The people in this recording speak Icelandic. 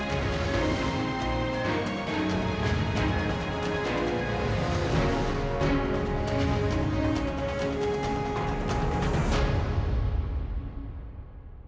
við